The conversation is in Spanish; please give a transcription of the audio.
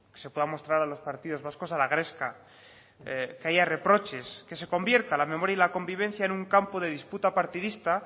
se pueda mostrar a los partidos vascos a la gresca que haya reproches que se convierta la memoria y la convivencia en un campo de disputa partidista